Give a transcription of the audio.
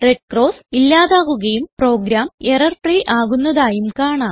red cross ഇല്ലാതാകുകയും program error free ആകുന്നതായും കാണാം